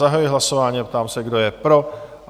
Zahajuji hlasování a ptám se, kdo je pro?